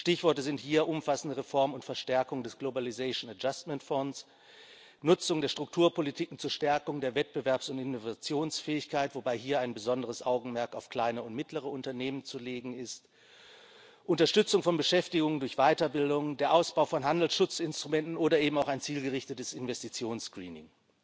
Stichworte sind hier umfassende Reform und Verstärkung des Globalisation Adjustment Fund Nutzung der Strukturpolitiken zur Stärkung der Wettbewerbs und Innovationsfähigkeit wobei hier ein besonderes Augenmerk auf kleine und mittlere Unternehmen zu legen ist Unterstützung von Beschäftigung durch Weiterbildung, der Ausbau von Handelsschutzinstrumenten oder eben auch ein zielgerichtetes Investitions Screening.